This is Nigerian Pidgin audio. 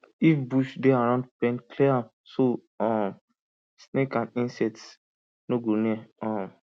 if bush dey around pen clear am so um snake and insects no go near um